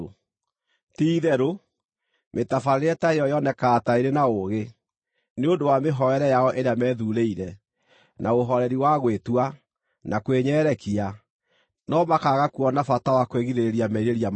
Ti-itherũ, mĩtabarĩre ta ĩyo yonekaga ta ĩrĩ na ũũgĩ, nĩ ũndũ wa mĩhoere yao ĩrĩa methuurĩire, na ũhooreri wa gwĩtua, na kwĩnyerekia, no makaaga kuona bata wa kwĩgirĩrĩria merirĩria ma mwĩrĩ.